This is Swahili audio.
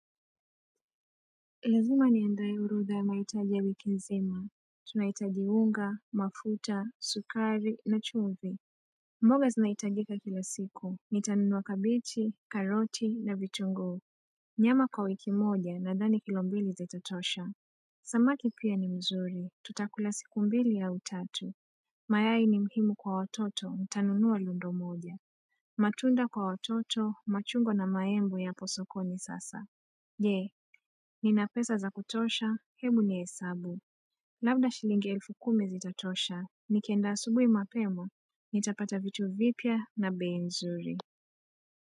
Ilazima niandae orodha ya mahitaji ya wiki nzima Tunahitaji unga, mafuta, sukari na chumvi mboga zinahitajika kila siku ni tanunua kabichi, karoti na vitunguu Nyama kwa wiki moja na dhani kilo mbili zitatosha Samaki pia ni mzuri tutakula siku mbili au tatu mayai ni mhimu kwa watoto nitanunua lundo moja matunda kwa watoto machungwa na maembe yapo sokoni sasa Je, nina pesa za kutosha, hebu ni hesabu. Labda shilingi elfu kumi zitatosha, nikienda asubuhi mapema. Nitapata vitu vipya na bei nzuri.